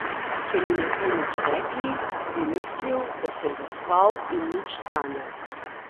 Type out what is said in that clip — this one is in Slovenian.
Če mi ne bi nič rekli, bi mislil, da sem zaspal in nič sanjal.